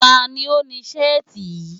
Ta ni ó ni Ṣẹ́ẹ̀tì yìí?